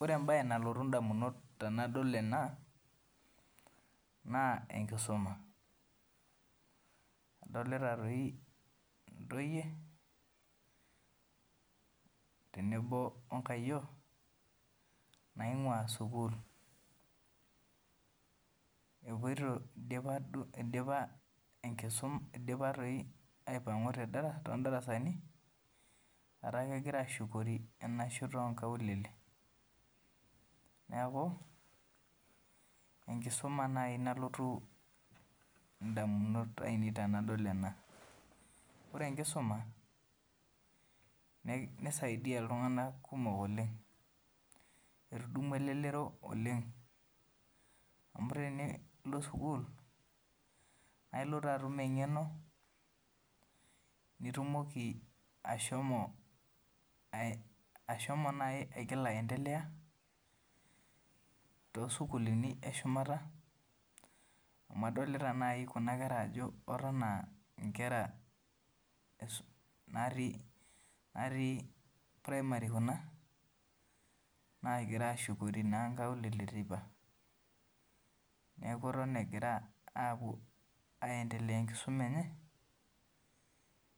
Ore embae nalotu indamunot tenadol ena, naa enkisuma. Adolita doi intoiye tenebo o nkayiok, naing'ua sukuul , eidipa enkisuma, eidipa aipangu toondarasani egira ashuko enda shoto oo nkaulele. Neaku enkisuma naaji nalotu indamunot aainei tenadol ena. Ore enkisuma neisaidiaa iltung'ana kumok oleng', etudumua elelero oleng' amu tenilo sukuul na ilo doi atum eng'eno nitumoki ashomo naaji aigila aendelea too sukuulini e shumata, amu adolita naaji Kuna kera ajo Eton aa inkera natii premari Kuna, naagirai aashukoori inkaulele, neaku eton ewuoita aendelea atum enkisuma enye,